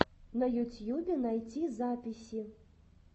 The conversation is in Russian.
на ютьюбе найти записи